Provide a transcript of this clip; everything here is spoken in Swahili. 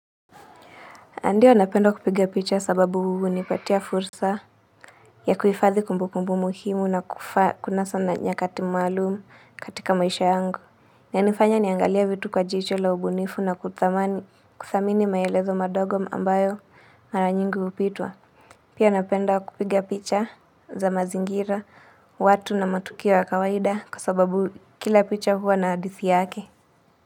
Ndiyo napenda kupiga picha sababu hunipatia fursa ya kuhifadhi kumbukumbu muhimu na kufa kuna sana nyakati maalumu katika maisha yangu. Inanifanya niangalie vitu kwa jicho la ubunifu na kuthamani kuthamini maelezo madogo ambayo mara nyingi hupitwa. Pia napenda kupiga picha za mazingira, watu na matukio ya kawaida kwa sababu kila picha huwa na hadithi yake.